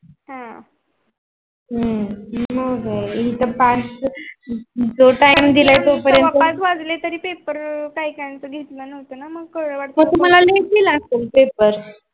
हम्म हू हू जो time दिला तो पर्यन्त सव पाच वाजले तरी paper काही काहींचा घेतला नव्हता ना मग तुम्हाला late दिला असल पेपर